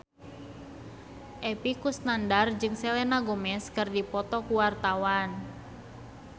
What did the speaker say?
Epy Kusnandar jeung Selena Gomez keur dipoto ku wartawan